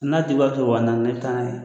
N'a tigi b'a kɛ waa naani ne bɛ taa n'a ye.